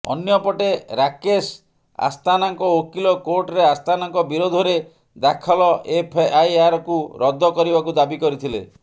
ଅନ୍ୟ ପଟେ ରାକେଶ ଆସ୍ଥାନାଙ୍କ ଓକିଲ କୋର୍ଟରେ ଆସ୍ଥାନାଙ୍କ ବିରୋଧରେ ଦାଖଲ ଏଫଆଇଆରକୁ ରଦ୍ଦ କରିବାକୁ ଦାବି କରିଥିଲେ